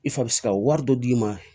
I fa bɛ se ka wari dɔ d'i ma